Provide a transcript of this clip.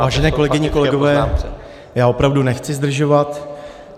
Vážené kolegyně, kolegové, já opravdu nechci zdržovat.